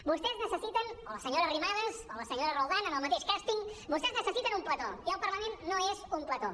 vostès necessiten o la senyora arrimadas o la senyora roldán en el mateix càsting un plató i el parlament no és un plató